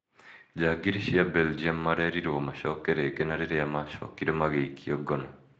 Njangiri cia belgium marerirwo macoke rĩngĩ na rĩrĩa macokire magĩikio ngono